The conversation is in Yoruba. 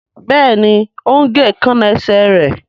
Béèni o ń gé Èékánná esè rẹ.